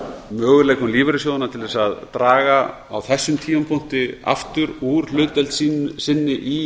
möguleikum lífeyrissjóðanna til að draga á þessum tímapunkti aftur úr hlutdeild sinni í